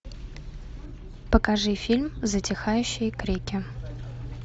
покажи фильм затихающие крики